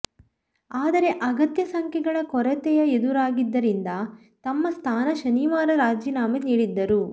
ಆದರೆ ಅಗತ್ಯ ಸಂಖ್ಯೆಗಳ ಕೊರತೆಯ ಎದುರಾಗಿದ್ದರಿಂದ ತಮ್ಮ ಸ್ಥಾನ ಶನಿವಾರ ರಾಜೀನಾಮೆ ನೀಡಿದ್ದರು